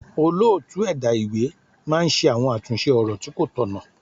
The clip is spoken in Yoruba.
Olóòtú ẹ̀dá ìwé máa ń ṣe àwọn àtúnṣe ọ̀rọ̀ tí kó tọ̀nà.